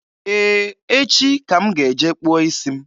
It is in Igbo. Ee, echi ka m ga-eje kpụọ isi m.